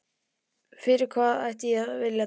Fyrir hvað ætti ég að vilja dæma þig?